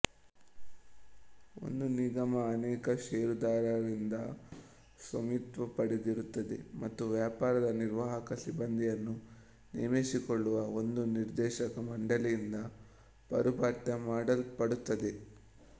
ಒಂದು ನಿಗಮ ಅನೇಕ ಷೇರುದಾರರಿಂದ ಸ್ವಾಮಿತ್ವಪಡೆದಿರುತ್ತದೆ ಮತ್ತು ವ್ಯಾಪಾರದ ನಿರ್ವಾಹಕ ಸಿಬ್ಬಂದಿಯನ್ನು ನೇಮಿಸಿಕೊಳ್ಳುವ ಒಂದು ನಿರ್ದೇಶಕ ಮಂಡಲಿಯಿಂದ ಪಾರುಪತ್ಯ ಮಾಡಲ್ಪಡುತ್ತದೆ